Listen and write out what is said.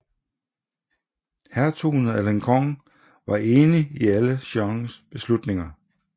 Hertugen af Alençon var enig i alle Jeannes beslutninger